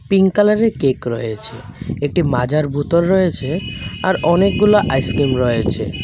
Pink কালারের cake রয়েছে একটি মাজার বোতল রয়েছে আর অনেকগুলো আইসক্রিম রয়েছে।